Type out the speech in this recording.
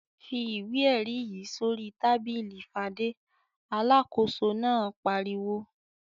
"Fi ìwé-ẹ̀rí yìí sórí tábìlì Fadé!" Alákòóso náà pariwo.